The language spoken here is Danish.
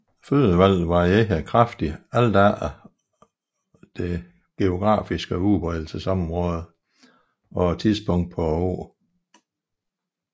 Fødevalget varierer kraftigt alt efter det geografiske udbredelsesområde og tidspunktet på året